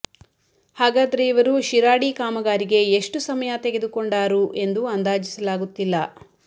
ಹಾಗಾದರೆ ಇವರು ಶಿರಾಡಿ ಕಾಮಗಾರಿಗೆ ಎಷ್ಟು ಸಮಯ ತೆಗೆದುಕೊಂಡಾರು ಎಂದು ಅಂದಾಜಿಸಲಾಗುತ್ತಿಲ್ಲ